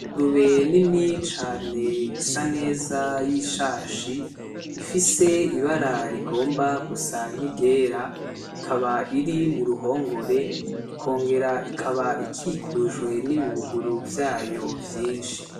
Ingurube rinini cane isa neza nziza y'ishashi ifise ibara rigomba gusa n'iryera, ikaba iri mu ruhongore ikongera ikaba ikikujwe n'ibibuguru vyayo vyinshi.